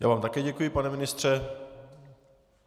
Já vám také děkuji, pane ministře.